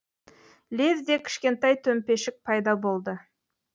лезде кішкентай төмпешік пайда болды